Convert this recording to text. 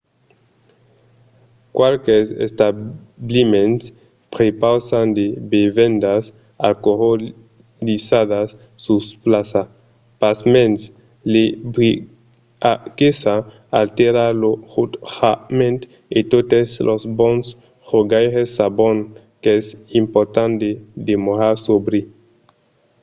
qualques establiments prepausan de bevendas alcoolizadas sus plaça. pasmens l'ebriaguesa altèra lo jutjament e totes los bons jogaires sabon qu'es important de demorar sòbri